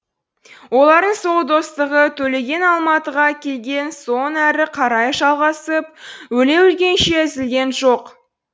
олардың сол достығы төлеген алматыға келген соң әрі қарай жалғасып өле өлгенше үзілген жоқ